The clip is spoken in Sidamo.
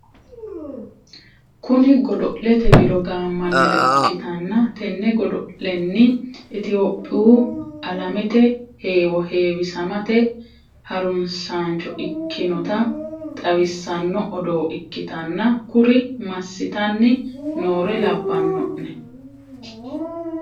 Kuni godo'lete wido gammannire ikkitanna tene godo'lenni itiyoophiyu alamete hewwo hewwisamate harunsaancho ikkinota xawissanno odoo ikkitanna kuri massitanni noore labbano'ne?